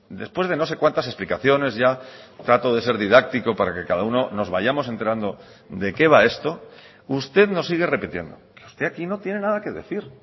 después de no sé cuántas explicaciones ya trato de ser didáctico para que cada uno nos vayamos enterando de qué va esto usted nos sigue repitiendo usted aquí no tiene nada que decir